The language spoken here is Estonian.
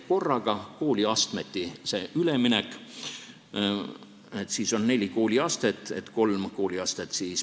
See üleminek toimuks korraga, kooliastmeti.